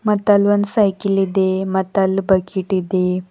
ಮತ್ ಅಲ್ಲೊಂದ್ ಸೈಕಿಲ್ ಇದೆ ಮತ್ ಅಲ್ ಬಕೆಟ್ ಇದೆ.